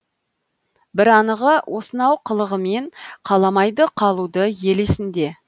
бір анығы осынау қылығымен қаламайды қалуды ел есінде